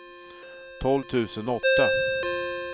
tolv tusen åtta